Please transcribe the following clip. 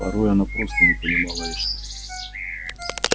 порой она просто не понимала эшли